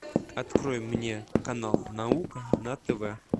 открой мне канал наука на тв